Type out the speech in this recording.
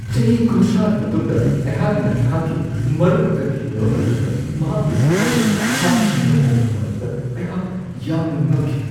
ꯆꯍꯤ ꯳꯰ꯒꯤ ꯃꯇꯨꯡꯗ ꯑꯩꯍꯥꯛꯅ ꯑꯩꯍꯥꯛꯀꯤ ꯃꯔꯨꯞꯀ ꯊꯦꯡꯅꯕ ꯃꯇꯝꯗ ꯃꯍꯥꯛꯀꯤ ꯁꯛꯐꯝ ꯑꯗꯨ ꯁꯥꯊꯤꯅ ꯍꯣꯡꯂꯝꯕ ꯑꯗꯨꯗ ꯑꯩꯍꯥꯛ ꯌꯥꯝꯅ ꯉꯛꯈꯤ ꯫